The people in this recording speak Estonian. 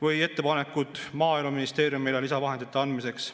Või ettepanekud Maaeluministeeriumile lisavahendite andmiseks.